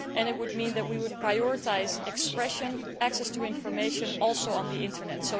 It would also mean that we would prioritise expression and access to information, including on the Internet.